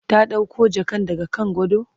ta ɗauko jakan daga kan gado?